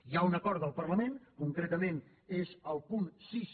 hi ha un acord del parlament concretament és el punt sis